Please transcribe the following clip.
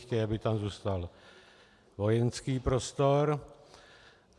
Chtějí, aby tam zůstal vojenský prostor.